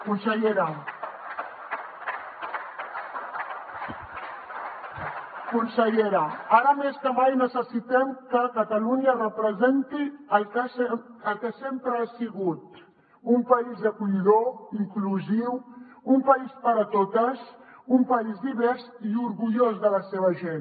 consellera ara més que mai necessitem que catalunya representi el que sempre ha sigut un país acollidor inclusiu un país per a totes un país divers i orgullós de la seva gent